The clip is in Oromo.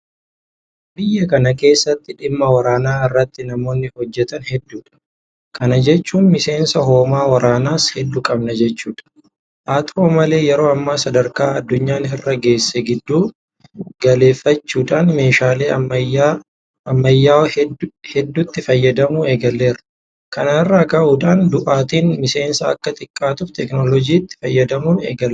Biyya kana keessatti dhimma waraanaa irratti namoonni hojjetan hedduudha. Kana jechuun miseensa hoomaa waraanaas hedduu qabna jechuudha. Haata'u malee yeroo ammaa sadarkaa addunyaan irra geesse giddu galeeffachuudhaan meeshaalee ammayyaa'oo hedduutti fayyadamuu eegalleerra. Kana irraa ka'uudhaan du'aatiin miseensaa akka xiqqaatuuf Teekinooloojiitti fayyadamuun eegalameera.